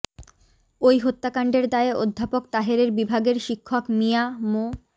ওই হত্যাকাণ্ডের দায়ে অধ্যাপক তাহেরের বিভাগের শিক্ষক মিয়া মো